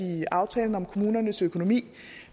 i aftalen om kommunernes økonomi